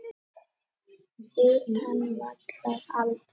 Utan vallar: aldrei.